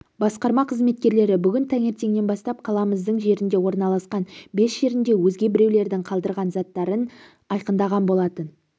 басқарма қызметкерлері бүгін таңертеңнен бастап қаламыздың жерінде орналасқан бес жерінде өзге біреулердің қалдырған заттарын айқындаған болатын